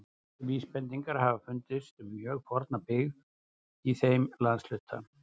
Góðar vísbendingar hafa fundist um mjög forna byggð í þeim landshluta.